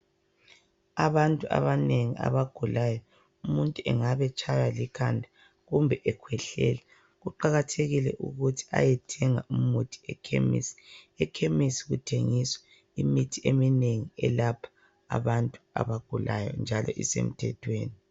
Abantu abanengi abagulayo umuntu engabe etshaywa likhanda akumbe ekhwehlela kuqakathekile ukuthi ayethenga umuthi ekhemisi. Ekhemisi kuthengiswa imithi eminengi elapha abantu abagulayo njalo isemthethweni.